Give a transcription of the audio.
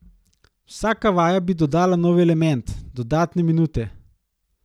Vsaka vaja bi dodala nov element, dodatne minute.